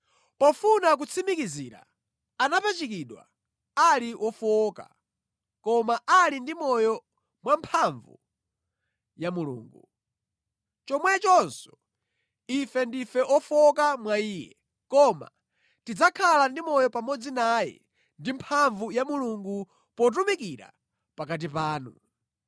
Pofuna kutsimikizira, anapachikidwa ali wofowoka koma ali ndi moyo mwamphamvu ya Mulungu. Chomwechonso, ife ndife ofowoka mwa Iye, koma tidzakhala ndi moyo pamodzi naye ndi mphamvu ya Mulungu, potumikira pakati panu.